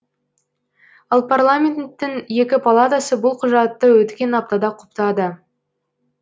ал парламенттің екі палатасы бұл құжатты өткен аптада құптады